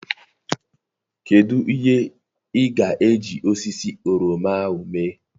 Kedụ ihe ị ga-eji osisi oroma ahụ mee?